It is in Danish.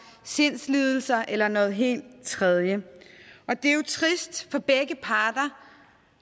sindslidelser eller noget helt tredje og det er jo trist for begge parter